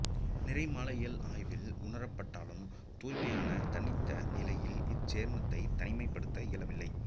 நிறமாலையியல் ஆய்வில் உணரப்பட்டாலும் தூய்மையான தனித்த நிலையில் இச்சேர்மத்தை தனிமைப்படுத்த இயலவில்லை